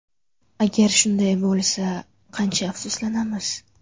Agar shunday bo‘lsa, qancha afsuslanamiz.